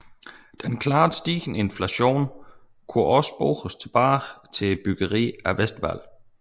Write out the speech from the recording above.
Den klart stigende inflation kunne også spores tilbage til byggeriet af Westwall